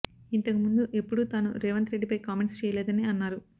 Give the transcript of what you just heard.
ఇంతకు ముందు ఎప్పుడూ తాను రేవంత్ రెడ్డిపై కామెంట్స్ చేయలేదని అన్నారు